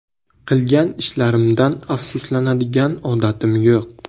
Qilgan ishlarimdan afsuslanadigan odatim yo‘q.